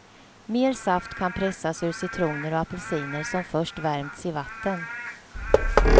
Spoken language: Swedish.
Mer saft kan pressas ur citroner och apelsiner som först värmts i vatten.